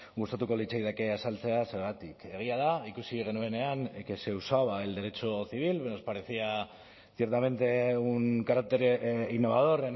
gustatuko litzaidake azaltzea zergatik egia da ikusi genuenean que se usaba el derecho civil nos parecía ciertamente un carácter innovador